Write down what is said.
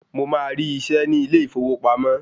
Mo máa rí isẹ́ ní ilé ìfowópamọ́